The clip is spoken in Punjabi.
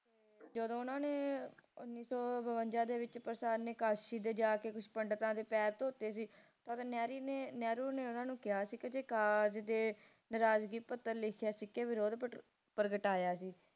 ਜਦੋ ਓਹਨਾ ਨੇ ਉੱਨੀ ਸੌ ਬਵੰਜਾ ਵਿਚ ਪ੍ਰਸਾਦ ਨੇ ਕਾਸ਼ੀ ਦੇ ਜਾਕੇ ਕੁਛ ਪੰਡਿਤਾਂ ਦੇ ਪੈਰ ਧੋਤੇ ਸੀ ਤਦ ਨਹਿਰੂ ਨੇ ਨਹਿਰੂ ਜੀ ਨੇ ਓਹਨਾ ਨੂੰ ਜਾ ਕੇ ਕਿਹਾ ਸੀ ਕਿ ਕਾਗਜ ਤੇ ਨਾਰਾਜ਼ਗੀ ਪੱਤਰ ਲਿਖ ਕੇ ਵਿਰੋਧ ਪ੍ਰਗਟਾਇਆ ਸੀ